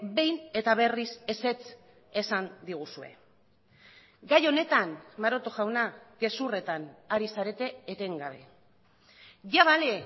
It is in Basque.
behin eta berriz ezetz esan diguzue gai honetan maroto jauna gezurretan ari zarete etengabe ya vale